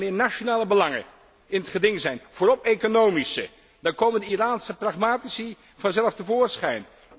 Wanneer nationale belangen in het geding zijn, met name economische, dan komen de Iraanse pragmatici vanzelf te voorschijn.